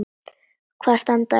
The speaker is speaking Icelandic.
Hvaða stand er á ykkur?